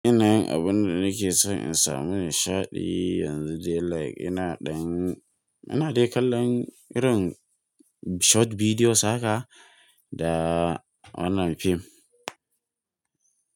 Ina yin abun da nake son in samu nishaɗi yanzu dai like ina ɗan, ina dai kallon irin short videos haka da wannan fim.